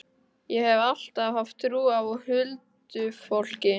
Ég hef alltaf haft trú á huldufólki.